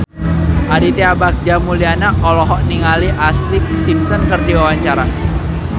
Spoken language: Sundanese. Aditya Bagja Mulyana olohok ningali Ashlee Simpson keur diwawancara